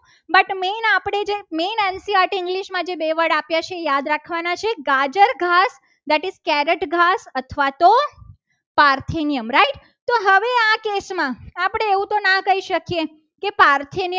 English માં બેવડ જે આપ્યા છે. તે યાદ રાખવાના છે. ગાજર ઘાસ that is carrot ઘાસ અથવા તો પારસીની right તો હવે આ કેસમાં આપણે એવું તો ના કહી શકીએ કે પાર્થિવ નિયમ